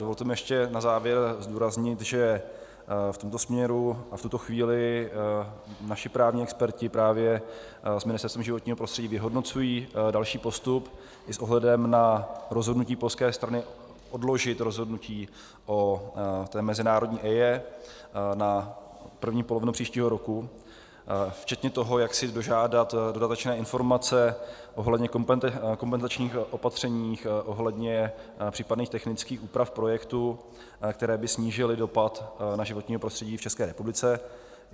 Dovolte mi ještě na závěr zdůraznit, že v tomto směru a v tuto chvíli naši právní experti právě s Ministerstvem životního prostředí vyhodnocují další postup i s ohledem na rozhodnutí polské strany odložit rozhodnutí o té mezinárodní EIA na první polovinu příštího roku, včetně toho, jak si dožádat dodatečné informace ohledně kompenzačních opatření ohledně případných technických úprav projektu, které by snížily dopad na životní prostředí v České republice.